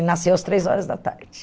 Ele nasceu às três horas da tarde.